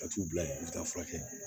Ka t'u bila yen u bɛ taa furakɛ